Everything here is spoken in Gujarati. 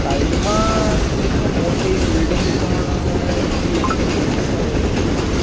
સાઈડ માં એક મોટી બિલ્ડીંગ પણ ઉભી હોય એવું દેખાય રહ્યું છે.